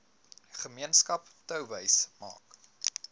gemeenskap touwys maak